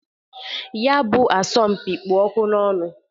Ya bụ asọmpị kpụ ọkụ n'ọnụ.